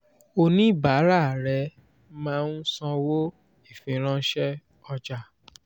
oníbàárà rẹ máa ń sanwó ìfiránṣẹ́ ọjà.